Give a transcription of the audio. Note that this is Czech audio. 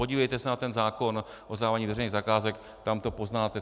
Podívejte se na ten zákon o zadávání veřejných zakázek, tam to poznáte.